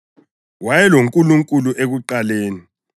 WayeloNkulunkulu ekuqaleni.